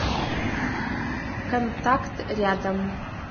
контакт рядом